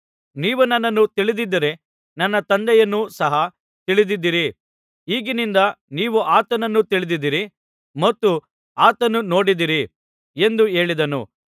ನೀವು ನನ್ನನ್ನು ತಿಳಿದಿದ್ದರೆ ನನ್ನ ತಂದೆಯನ್ನೂ ಸಹ ತಿಳಿಯುತ್ತಿದ್ದಿರಿ ಈಗಿನಿಂದ ನೀವು ಆತನನ್ನು ತಿಳಿದಿದ್ದೀರಿ ಮತ್ತು ಆತನನ್ನು ನೋಡಿದ್ದೀರಿ ಎಂದು ಹೇಳಿದನು